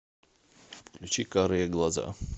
включи карые глаза